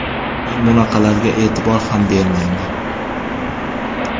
Men bunaqalarga e’tibor ham bermayman.